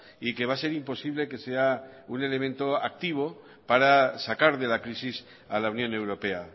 y que va a ser imposible que sea un elemento activo para sacar de la crisis a la unión europea